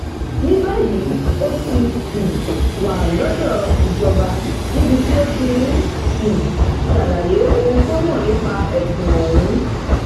ní báyìí ó ti um wà lọdọ ìjọba níbi tó ti ń um ṣàlàyé ohun tó mọ nípa ẹsùn ọhún